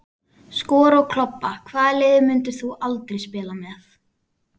Skora og klobba Hvaða liði myndir þú aldrei spila með?